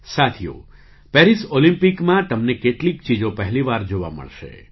સાથીઓ પેરિસ ઑલિમ્પિકમાં તમને કેટલીક ચીજો પહેલી વાર જોવા મળશે